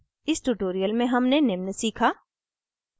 इस tutorial में हमने निम्न सीखा